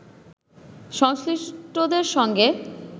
সংশ্লিষ্টদের সঙ্গে